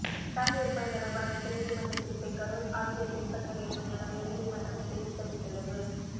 பட்டாசு விற்பனை தொடர்பான உச்சநீதிமன்ற தீர்ப்பை கரூர் ஆட்சியர் பின்பற்ற வேண்டும் என உயர்நீதிமன்றம் கிளை உத்தரவிட்டுள்ளது